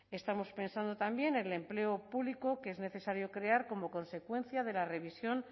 estamos pensando también en el empleo público que es necesario crear como consecuencia de la revisión